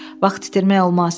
Vaxt itirmək olmaz.